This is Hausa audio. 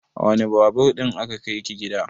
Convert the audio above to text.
A wane Babur ɗin aka kai ki gida?